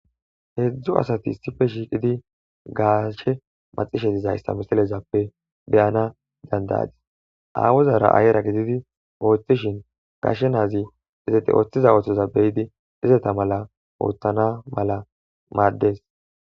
Heedzdzu asati issife shiiqidi gaashe maxishe izayssa misalezappe beyana dandayadis awuzara ayra gididi ooththishin gashe naazi izete ooththiza ooththoza beyidi izeta mala ooththana mala maaddees.